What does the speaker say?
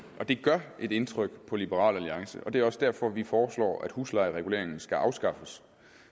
gør et indtryk på liberal alliance det er også derfor vi foreslår at huslejereguleringen skal afskaffes